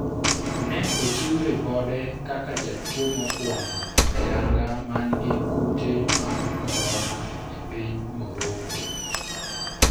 ne ochiw ripode kaka jatuo mokwongo ayanga man gi kute mag korona e piny Moroco